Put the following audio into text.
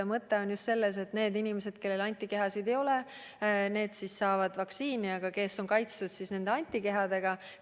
Mõte on ju selles, et need inimesed, kellel antikehasid ei ole, saavad vaktsiini, teised aga on kaitstud antikehadega.